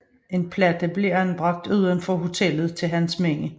En platte blev anbragt uden for hotellet til hans minde